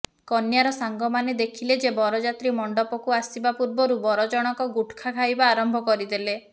କନ୍ୟାର ସାଙ୍ଗମାନେ ଦେଖିଲେ ଯେ ବରଯାତ୍ରୀ ମଣ୍ଡପକୁ ଆସିବା ପୂର୍ବରୁ ବର ଜଣକ ଗୁଟୁଖା ଖାଇବା ଆରମ୍ଭ କରିଦେଲେ